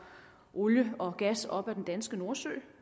olie og gas op af den danske nordsø